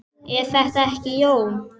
Er það ekki, Jón?